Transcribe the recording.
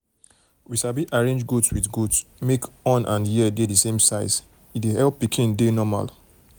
we sabi arrange goat with goat wey horn and ear dey the same size e help pikin dey normal